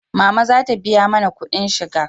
Mama za ta biya mana kudin shiga